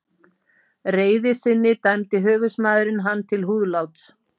reiði sinni dæmdi höfuðsmaðurinn hann til húðláts.